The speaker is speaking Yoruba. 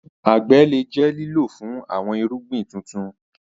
Agbe le jẹ lilo fun awọn irugbin tutu.